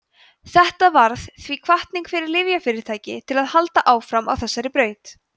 þetta varð því hvatning fyrir lyfjafyrirtæki til að halda áfram á þessari braut